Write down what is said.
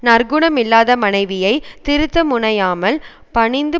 நற்குணமில்லாத மனைவியைத் திருத்த முனையாமல் பணிந்து